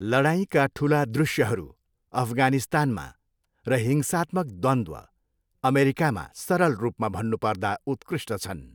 लडाइँका ठुला दृश्यहरू, अफगानिस्तानमा, र हिंसात्मक द्वन्द्व, अमेरिकामा, सरल रूपमा भन्नु पर्दा उत्कृष्ट छन्।